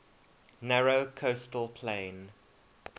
narrow coastal plain